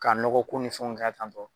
Ka nɔgɔ ko ni fɛnw kɛ tan tɔ